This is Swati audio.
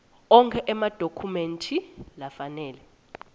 onkhe emadokhumenti lafanele